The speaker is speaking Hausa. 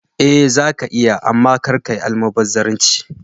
Eh zaka iya amma kar kayi almubazzaranci.